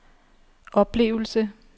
oplevelse